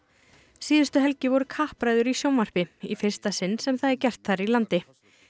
síðustu helgi voru kappræður í fyrsta sinn sem það er gert þar í landi